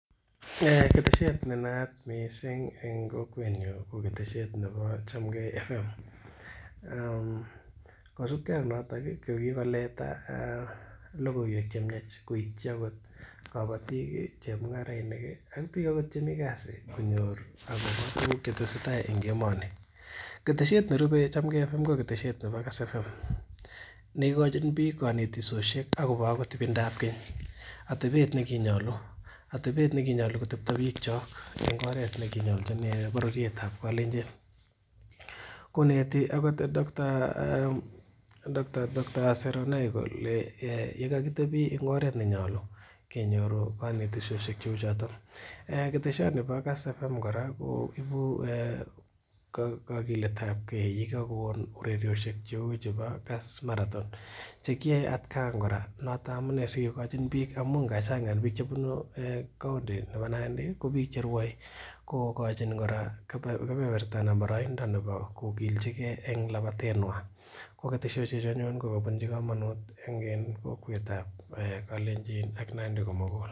Ketesiet ne naat missing en kokwetnyun ko ketesiet nebo Chamgei frequency modulation kosibgee ak noton ko kikoleta logoiwek chemiach koityi akot kobotik chemung'arainik ih ak biik akot chemii kasit konyor akobo tuguk chetesetaa en emoni. Ketesiet nerupe Chamgei frequency modulation ko ketesiet nebo frequency modulation neikochin biik konetisosiek akobo akot ibindap keny, atebet nekinyolu kotepto biik kyok en oret nekinyolchin bororiet ab Kalenjin koneti akot doctor Seronei kole yekakitebii en oret ne nyolu kenyoru konetisosiek cheu choton ketesioni bo Kass frequency modulation kora ko ibu kogilet ab gee yekakon ureriosiek cheu chebo Kass marathon chekiyoe atkan kora noton amunee sikokochin biik amun kachang en biik chebunu county nebo Nandi ko biik cherwoe kokochin kora kebeberta ana boroindo kokilchigee en labatet nywan ko ketesosiek chu anyun kokobunji komonut en kokwet an Kalenjin ak Nandi komugul